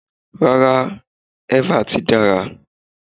Rárá, eva ti dára.